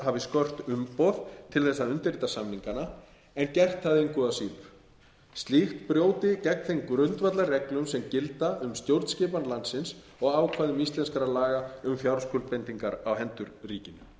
skort umboð til þess að undirrita samningana en gert það engu að síður slíkt brjóti gegn þeim grundvallarreglum sem gilda um stjórnskipan landsins og ákvæðum íslenskra laga um fjárskuldbindingar á hendur ríkinu í